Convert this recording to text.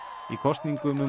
í kosningum um